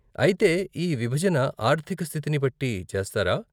అయితే, ఈ విభజన ఆర్ధిక స్థితిని బట్టి చేస్తారా?